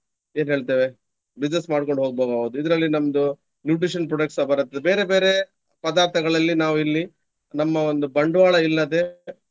ಏನ್ಹೆಳ್ತೇವೆ business ಮಾಡ್ಕೊಂಡು ಹೋಗ್ಬಹುದು ನಾವು. ಇದರಲ್ಲಿ ನಮ್ದು nutrition product ಸ ಬರತ್ತೆ. ಬೇರೆ ಬೇರೆ ಪದಾರ್ಥಗಳಲ್ಲಿ ನಾವಿಲ್ಲಿ ನಮ್ಮ ಒಂದು ಬಂಡ್ವಾಳ ಇಲ್ಲದೆ